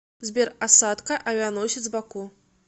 сбер осадка авианосец баку